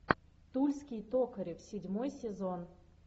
тульский токарев седьмой сезон